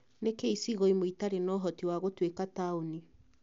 Nĩkĩĩ icigo imwe itarĩ na ũhoti wa gũtuĩka taũni